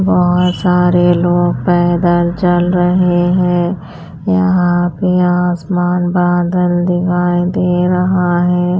बहुत सारे लोग पैदल चल रहे हैं यहाँ पे आसमान बादल दिखाई दे रहा है।